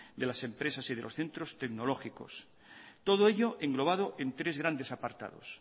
de las empresas y de los centros tecnológicos todo ello englobado en tres grandes apartados